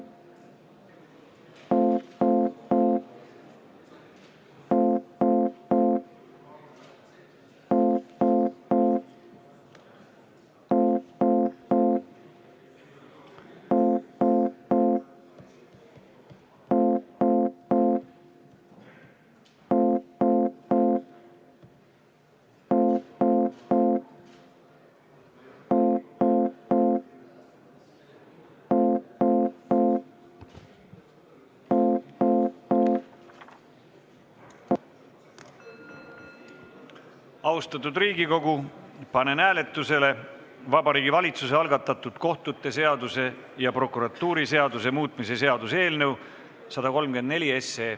Austatud Riigikogu, panen hääletusele Vabariigi Valitsuse algatatud kohtute seaduse ja prokuratuuriseaduse muutmise seaduse eelnõu 134.